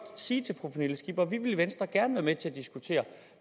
sige til fru pernille skipper at vi i venstre gerne vil være med til at diskutere